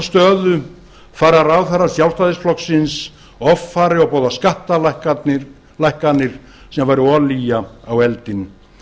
stöðu fara ráðherrar sjálfstæðisflokksins offari og boða skattalækkanir sem væru olía á eldinn